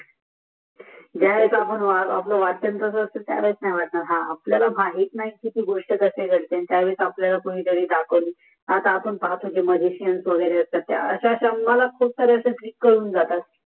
ज्या वे ळेस आपल वाचन तास असते त्यावेळेस नाही वाटणार हा आपण हस आपल्याला येत नाही